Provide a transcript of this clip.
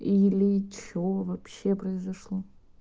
или что вообще произошло